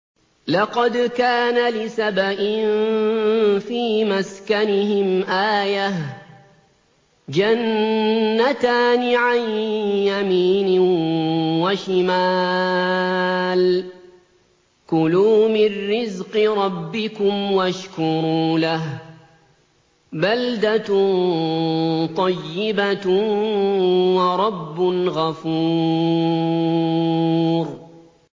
لَقَدْ كَانَ لِسَبَإٍ فِي مَسْكَنِهِمْ آيَةٌ ۖ جَنَّتَانِ عَن يَمِينٍ وَشِمَالٍ ۖ كُلُوا مِن رِّزْقِ رَبِّكُمْ وَاشْكُرُوا لَهُ ۚ بَلْدَةٌ طَيِّبَةٌ وَرَبٌّ غَفُورٌ